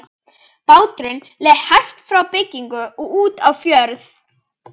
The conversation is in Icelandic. Báturinn leið hægt frá bryggju út á fjörð.